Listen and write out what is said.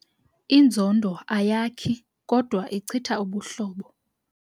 Inzondo ayakhi kodwa ichitha ubuhlobo.